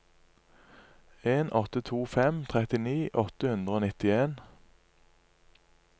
en åtte to fem trettini åtte hundre og nittien